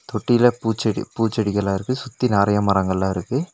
தொட்டில பூச்செடி பூச்செடிகளா இருக்கு சுத்தி நறையா மரங்கள்லா இருக்கு.